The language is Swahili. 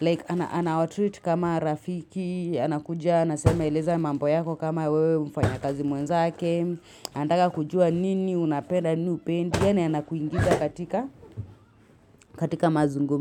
like anawatreat kama rafiki anakuja, anasema eleza mamboyako kama wewe mfanya kazi mwenzake andaka kujua nini unapenda, nini upendi, yana anakuingiza katika katika mazungumi.